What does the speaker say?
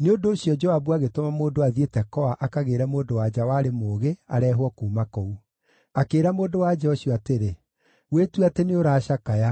Nĩ ũndũ ũcio, Joabu agĩtũma mũndũ athiĩ Tekoa akagĩĩre mũndũ-wa-nja warĩ mũũgĩ, areehwo kuuma kũu. Akĩĩra mũndũ-wa-nja ũcio atĩrĩ, “Wĩtue atĩ nĩũracakaya.